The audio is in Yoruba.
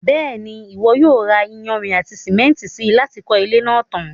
Bẹ́ẹ̀ni, Ìwọ yóò ra iyanrìn àti sìmẹ́ntì si láti kọ́ ilé náà tan.